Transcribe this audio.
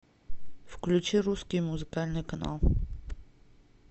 включи русский музыкальный канал